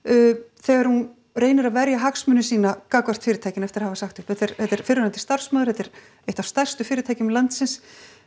þegar hún reynir að verja hagsmuni sína gagnvart fyrirtækinu eftir að hafa sagt upp þetta er fyrrverandi starfsmaður þetta er eitt af stærstu fyrirtækjum landsins